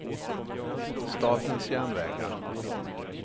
Statens Järnvägar